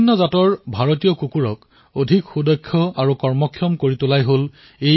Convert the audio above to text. লক্ষ্য এয়াই যে ভাৰতীয় জাতৰ কুকুৰক অধিক উন্নত কৰি তোলা হওক আৰু অধিক উপযোগী কৰি তোলা হওক